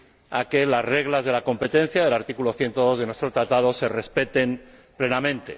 a que las reglas de la competencia del artículo 102 de nuestro Tratado se respeten plenamente.